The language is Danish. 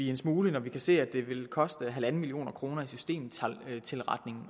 en smule når vi kan se at det vil koste en million kroner i systemtilretning